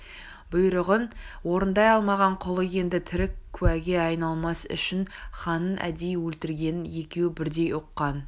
бұйрығын орындай алмаған құлы енді тірі куәге айналмас үшін ханның әдейі өлтіргенін екеуі бірдей ұққан